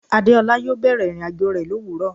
Adeolu yo bẹ̀rẹ̀ ìrìnàjò rẹ lowuro